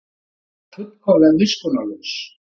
Hann var fullkomlega miskunnarlaus.